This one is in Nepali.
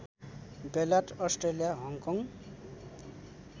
बेलायत अस्ट्रेलिया हङकङ